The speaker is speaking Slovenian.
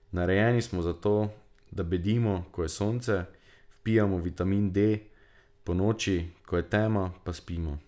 Narejeni smo za to, da bedimo, ko je sonce, vpijamo vitamin D, ponoči, ko je tema, pa spimo.